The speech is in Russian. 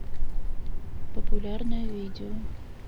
популярное видео